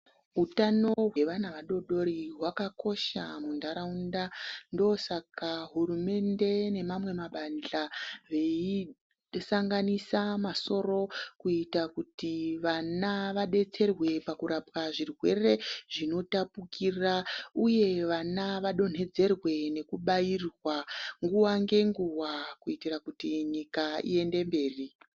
Utano hwevana vadodori hwakakosha mundaraunda ndosaka hurumende nemamwe mabandla veisanganisa masoro kuita kuti vana vabetserwe pakurapwa zvirwere zvinotapukira uye vana vadonhedzerwe nekubairwa nguwa ngenguwa kuitira kuti nyika iyende mberi.